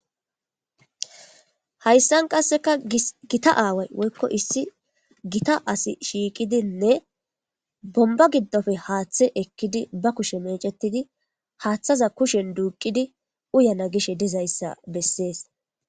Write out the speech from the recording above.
Haysan qaseka Gita waway woyko issi Gita asi shiqidine bonba gidope haathe ekidi ba kushe mecetidi haatheza kushen duqididi uyana gishe dizaysa beses